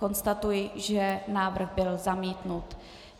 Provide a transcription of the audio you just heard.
Konstatuji, že návrh byl zamítnut.